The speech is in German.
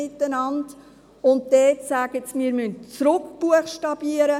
Dort sagt man: Wir müssen zurückbuchstabieren;